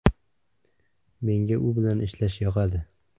Menga u bilan ishlash yoqadi”.